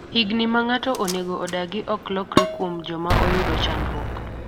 higni ma ng'ato onego odagi ok lokre kuom joma oyudo chandruok